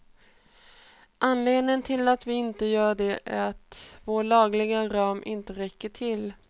Anledningen till att vi inte gör det är att vår lagliga ram inte räcker till.